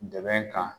Dɛmɛ kan